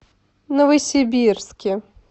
новосибирске